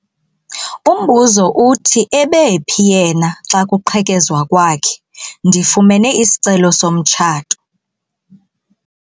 Umbuzo uthi ebephi yena xa kuqhekezwa kwakhe? ndifumene isicelo somtshato